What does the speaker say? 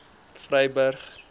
vryburg